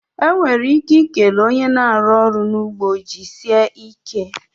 Enwere ike ikele one na-arụ ọrụ n'ugbo 'jisie ike'